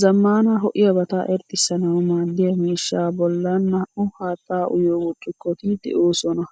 Zammaana ho'iyabata irxxisanawu maaddiya miishshaa bollan naa'u haattaa uyiyo burccukkoti deosona.